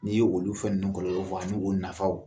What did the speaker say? N'i ye olu fɛn ninnu kɔlɔlɔ fɔ ani u nafaw